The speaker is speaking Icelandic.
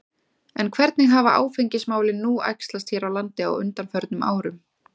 En hvernig hafa áfengismálin nú æxlast hér á landi á undanförnum árum?